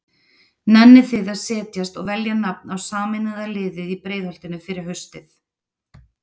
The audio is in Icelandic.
Nennið þið að setjast og velja nafn á sameinaða liðið í Breiðholtinu fyrir haustið?